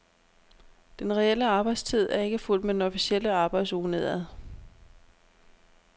Den reelle arbejdstid er ikke fulgt med den officielle arbejdsuge nedad.